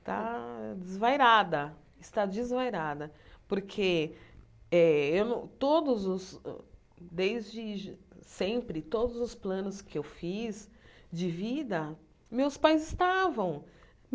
está desvairada, está desvairada, porque eh eu não todos os, desde sempre, todos os planos que eu fiz de vida, meus pais estavam.